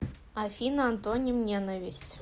афина антоним ненависть